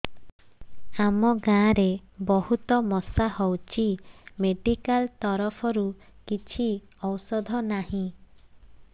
ଆମ ଗାଁ ରେ ବହୁତ ମଶା ହଉଚି ମେଡିକାଲ ତରଫରୁ କିଛି ଔଷଧ ନାହିଁ